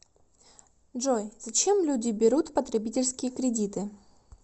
джой зачем люди берут потребительские кредиты